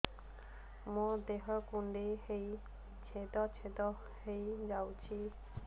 ମୋ ଦେହ କୁଣ୍ଡେଇ ହେଇ ଛେଦ ଛେଦ ହେଇ ଯାଉଛି